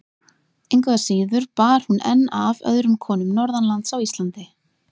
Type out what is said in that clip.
Engu að síður bar hún enn af öðrum konum norðanlands á Íslandi.